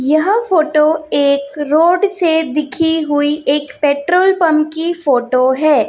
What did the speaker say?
यह फोटो एक रोड से दिखी हुई एक पेट्रोल पंप की फोटो है।